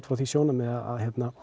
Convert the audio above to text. frá því sjónarhorni að